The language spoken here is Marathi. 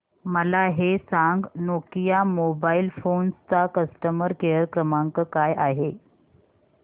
मला हे सांग नोकिया मोबाईल फोन्स चा कस्टमर केअर क्रमांक काय आहे